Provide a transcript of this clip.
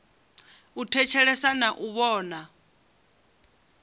u thetshelesa na u vhona